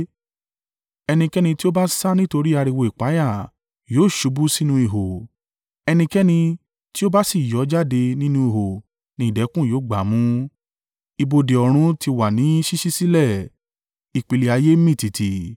Ẹnikẹ́ni tí ó bá sá nítorí ariwo ìpayà yóò ṣubú sínú ihò, ẹnikẹ́ni tí ó bá sì yọ́ jáde nínú ihò ni ìdẹ̀kùn yóò gbámú. Ibodè ọ̀run ti wà ní ṣíṣí sílẹ̀, ìpìlẹ̀ ayé mì tìtì.